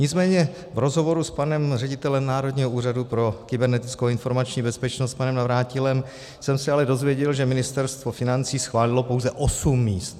Nicméně v rozhovoru s panem ředitelem Národního úřadu pro kybernetickou informační bezpečnost panem Navrátilem jsem se ale dozvěděl, že Ministerstvo financí schválilo pouze 8 míst.